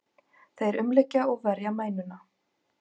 Þeir umlykja og verja mænuna.